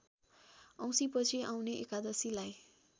औँसीपछि आउने एकादशीलाई